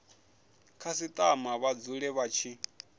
khasitama vha dzule vha tshi